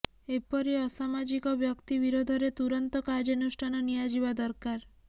ଏପରି ଅସାମାଜିକ ବ୍ୟକ୍ତି ବିରୋଧରେ ତୁରନ୍ତ କାର୍ଯ୍ୟାନୁଷ୍ଠାନ ନିଆଯିବା ଦରକାର